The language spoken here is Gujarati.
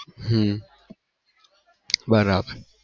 હમ બરાબર